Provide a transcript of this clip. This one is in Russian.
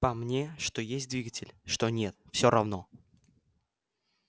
по мне что есть двигатель что не всё равно